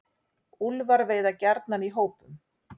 Úlfar veiða gjarnan í hópum.